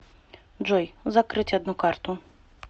джой закрыть одну карту